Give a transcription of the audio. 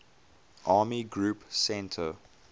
army group centre